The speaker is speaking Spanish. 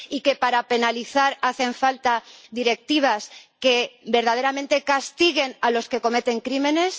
¿Y que, para penalizar, hacen falta directivas que verdaderamente castiguen a los que cometen crímenes?